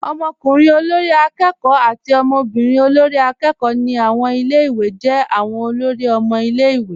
Ọmọkùnrin olórí akẹ́kọ̀ọ́. àti ọmọbírin olórí akẹ́kọ̀ọ́. ni awọn ilẹ̀-iwé jẹ́ awọn olóri ọmọ ilẹ̀-iwé.